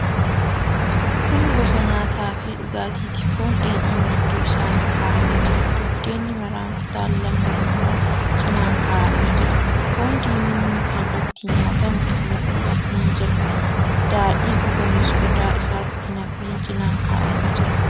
Kun gosa nyaataafi dhugaatiiti. Foon dheedhiin gidduu saanii kaa'amee jira. Buddeenni maraan kutaan lamni immoo cinaan kaa'amee jira. Foon diiminni kan ittiin nyaatamu mixmixis ni jira. Daadhiin dhugamus qodaa isaatti nam'ee cinaan kaa'amee jira.